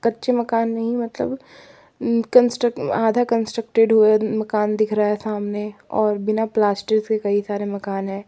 कच्चे मकान नहीं मतलब कंस्ट्रक्ट आधा कंस्ट्रक्टेड हुए मकान दिख रहा है सामने और बिना प्लास्टर से कई सारे मकान है।